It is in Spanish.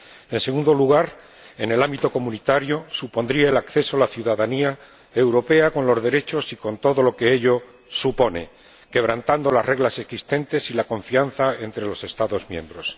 En segundo lugar, en el ámbito comunitario supondría el acceso a la ciudadanía europea con los derechos y con todo lo que ello implica, quebrantando las reglas existentes y la confianza entre los Estados miembros.